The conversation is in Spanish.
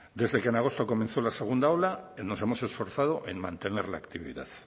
desde que en agosto comenzó la segunda ola nos hemos esforzado en mantener la actividad